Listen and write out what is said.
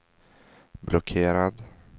blockerad